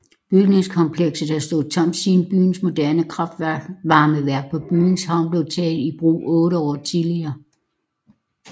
Bygningskomplekset havde stået tomt siden byens moderne kraftvarmeværk på byens havn blev taget i brug otte år tidligere